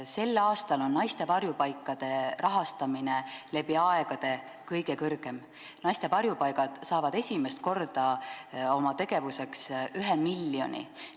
Sel aastal on naiste varjupaikade rahastamine läbi aegade kõige suurem, naiste varjupaigad saavad esimest korda oma tegevuseks ühe miljoni.